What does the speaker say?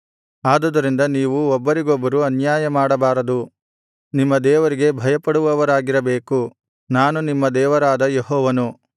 ಆದುದರಿಂದ ನೀವು ಒಬ್ಬರಿಗೊಬ್ಬರು ಅನ್ಯಾಯಮಾಡಬಾರದು ನಿಮ್ಮ ದೇವರಿಗೆ ಭಯಪಡುವವರಾಗಿರಬೇಕು ನಾನು ನಿಮ್ಮ ದೇವರಾದ ಯೆಹೋವನು